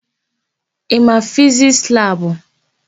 Ị ma Fizisti labụ?